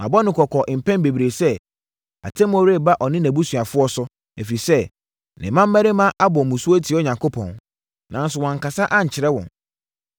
Mabɔ no kɔkɔ mpɛn bebree sɛ, atemmuo reba ɔne nʼabusuafoɔ so, ɛfiri sɛ, ne mmammarima abɔ mmusuo atia Onyankopɔn, nanso wankasa ankyerɛ wɔn.